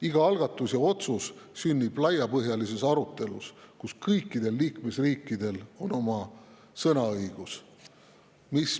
Iga algatus ja otsus sünnib laiapõhjalises arutelus, kus kõikidel liikmesriikidel on sõnaõigus.